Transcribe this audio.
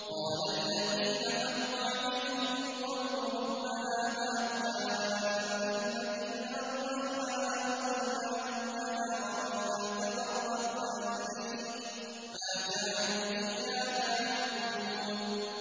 قَالَ الَّذِينَ حَقَّ عَلَيْهِمُ الْقَوْلُ رَبَّنَا هَٰؤُلَاءِ الَّذِينَ أَغْوَيْنَا أَغْوَيْنَاهُمْ كَمَا غَوَيْنَا ۖ تَبَرَّأْنَا إِلَيْكَ ۖ مَا كَانُوا إِيَّانَا يَعْبُدُونَ